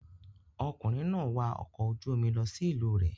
Ọkùnrin náà wa ọkọ̀ ojú-omi lọ sí ìlú rẹ̀.